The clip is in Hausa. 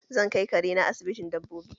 Zan kai kare na asibitin dabbobi